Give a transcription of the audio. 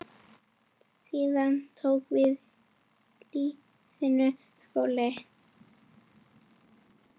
Síðan tók við lífsins skóli.